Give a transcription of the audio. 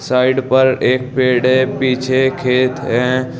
Side पर एक पेड़ है पीछे खेत है।